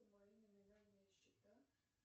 мои номинальные счета